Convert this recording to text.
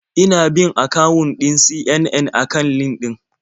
Ina bin akawun ɗin CNN a kan LinkedIn.